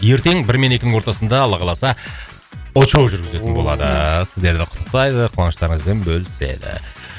ертең бір мен екінің ортасында алла қаласа очоу жүргізітін болады сіздерді құттықтайды қуаныштарыңызбен бөліседі